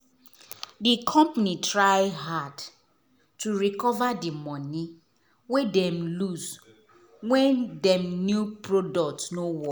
di company try hard to recover di money wey dem lose when dem new product no work.